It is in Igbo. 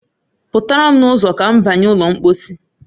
Pụtara m n'ụzo ka m banye ụlọ mpọsị